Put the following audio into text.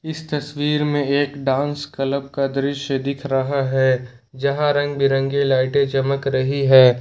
इस तस्वीर में एक डांस क्लब का दृश्य दिख रहा है जहां रंग बिरंगे लाइटें चमक रही है।